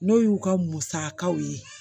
N'o y'u ka musakaw ye